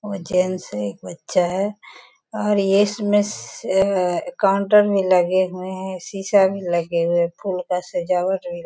वो जेंट्स है एक बच्चा है और इसमें से काउंटर में लगे हुए हैं शीशा भी लगे हुए हैं फूल का सजावट भी --